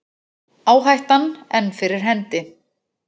Áhættan enn fyrir hendi